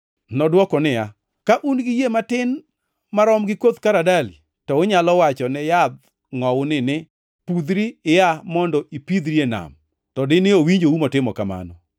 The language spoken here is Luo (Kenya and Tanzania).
Nodwoko niya, “Ka un gi yie matin marom gi koth karadali, to unyalo wacho ne yadh ngʼowuni ni, ‘Pudhri ia mondo ipithri e nam,’ to dine owinjou motimo kamano.